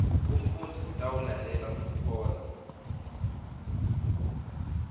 umfundzi utawulalela kutfola